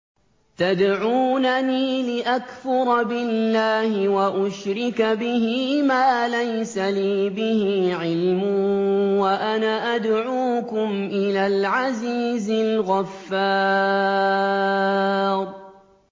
تَدْعُونَنِي لِأَكْفُرَ بِاللَّهِ وَأُشْرِكَ بِهِ مَا لَيْسَ لِي بِهِ عِلْمٌ وَأَنَا أَدْعُوكُمْ إِلَى الْعَزِيزِ الْغَفَّارِ